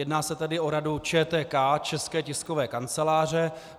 Jedná se tedy o Radu ČTK, České tiskové kanceláře.